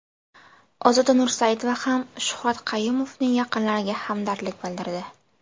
Ozoda Nursaidova ham Shuhrat Qayumovning yaqinlariga hamdardlik bildirdi.